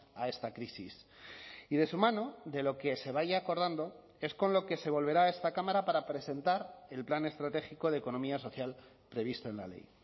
a esta crisis y de su mano de lo que se vaya acordando es con lo que se volverá a esta cámara para presentar el plan estratégico de economía social previsto en la ley